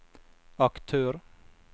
aktør